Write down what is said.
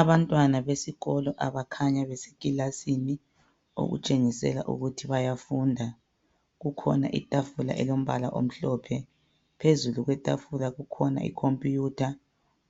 Abantwana besikolo abakhanya besekilasini okutshengisela ukuthi bayafunda. Kukhona itafula elombala omhlophe. Phezulu kwetafula kule ikhompuyutha,